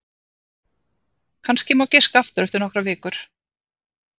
Kannski má giska aftur eftir nokkrar vikur.